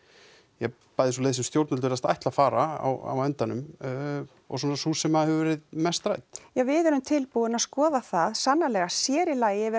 ja bæði sú leið sem stjórnvöld virðast ætla að fara á endanum og svona sú sem hefur verið mest rædd við erum tilbúin að skoða það sannarlega sér í lagi yfir